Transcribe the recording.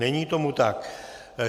Není tomu tak.